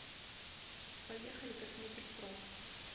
поехали косметикпро